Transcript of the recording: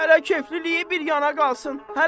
Hələ kefliliyi bir yana qalsın.